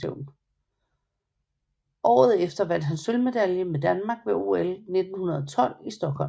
Året efter vandt han sølvmedalje med Danmark ved OL 1912 i Stockholm